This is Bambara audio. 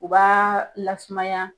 U b'a lasumaya